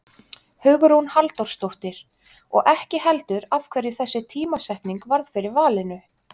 Hugrún Halldórsdóttir: Og ekki heldur af hverju þessi tímasetning varð fyrir valinu?